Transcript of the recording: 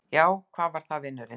Já, hvað var það, vinurinn?